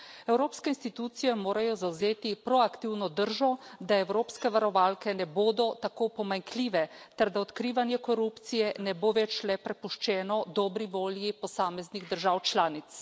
Evropske institucije morajo zavzeti proaktivno držo, da evropske varovalke ne bodo tako pomanjkljive ter da odkrivanje korupcije ne bo več le prepuščeno dobri volji posameznih držav članic.